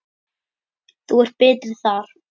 Þú ert betri þar.